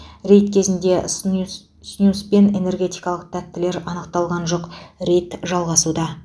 рейд кезінде снюс снюс пен энергетикалық тәттілер анықталған жоқ рейд жалғасуда